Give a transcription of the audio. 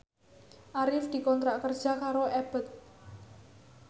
Arif dikontrak kerja karo Abboth